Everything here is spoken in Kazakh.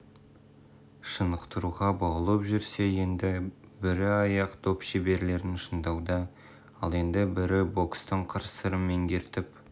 шынықтыруға баулып жүрсе енді бірі аяқ доп шеберлерін шыңдауда ал енді бірі бокстың қыр-сырын меңгертіп